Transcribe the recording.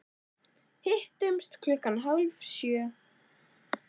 Hittumst klukkan hálf sjö.